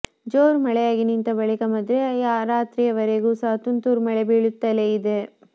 ಜೋರು ಮಳೆಯಾಗಿ ನಿಂತ ಬಳಿಕ ಮಧ್ಯರಾತ್ರಿವರೆಗೂ ಸಹ ತುಂತುರು ಮಳೆ ಬೀಳುತ್ತಲೇ ಇದೆ